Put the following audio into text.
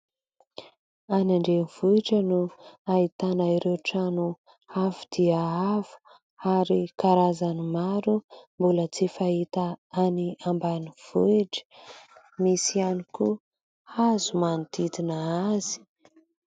Any Andrenivohitra no ahitana ireo trano avo dia avo ary karazany maro mbola tsy fahita any Ambanivohitra misy ihany koa hazo manodidina azy.